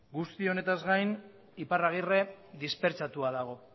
guztiz honetaz gain iparragirre dispertsatua dago